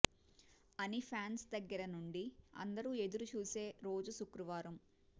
అని ఫ్యాన్స్ దగ్గర నుండి అందరూ ఎదురు చూసే రోజు శుక్రవారం